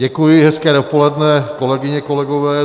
Děkuji, hezké dopoledne, kolegyně, kolegové.